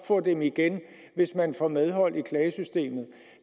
få dem igen hvis man får medhold i klagesystemet